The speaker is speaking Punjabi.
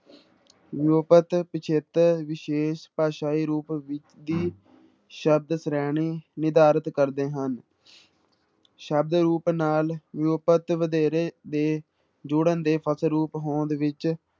ਵਿਊਪਤ ਪਿੱਛੇਤਰ ਵਿਸ਼ੇਸ਼ ਭਾਸ਼ਾਈ ਰੂਪ ਦੀ ਸ਼ਬਦ ਸ਼੍ਰੇਣੀ ਨਿਰਧਾਰਤ ਕਰਦੇ ਹਨ ਸ਼ਬਦ ਰੂਪ ਨਾਲ ਵਿਊਪਤ ਵਧੇਰੇ ਦੇ ਜੁੜਨ ਦੇ ਫਲਸਰੂਪ ਹੋਂਦ ਵਿੱਚ